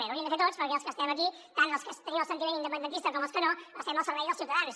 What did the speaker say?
l’hauríem de fer tots perquè els que estem aquí tant els que tenim el sentiment independentista com els que no estem al servei dels ciutadans